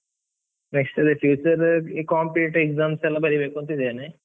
next future , ಈ competitive exams ಎಲ್ಲ ಬರಿಬೇಕು ಅಂತ ಇದ್ದೇನೆ.